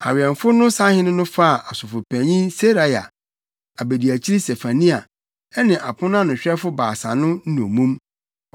Awɛmfo no sahene no faa ɔsɔfopanyin Seraia, abediakyiri Sefania ne ɔponanoahwɛfo baasa no nnommum.